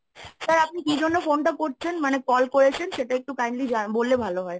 sir আপনি কি জন্য phone টা করছেন? মানে call করেছেন সেটা একটু kindly জা~ বললে ভালো হয়।